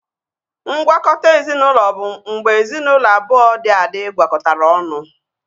Ngwakọta ezinaụlọ bụ mgbe ezinaụlọ abụọ dị adị gwakọtara ọnụ